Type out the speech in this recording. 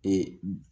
Ee